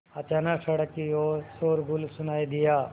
अचानक सड़क की ओर शोरगुल सुनाई दिया